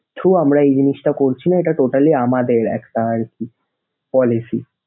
throw আমরা এই জিনিসটা করছি না, এটা totally আমাদের একটা আরকি policy ।